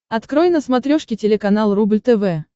открой на смотрешке телеканал рубль тв